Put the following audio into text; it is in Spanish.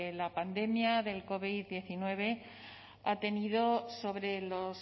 la pandemia del covid diecinueve ha tenido sobre los